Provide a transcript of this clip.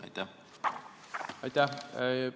Aitäh!